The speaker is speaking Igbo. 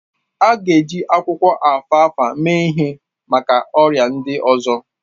A ga-eji akwụkwọ alfalfa mee ihe maka ọrịa ndị ọzọ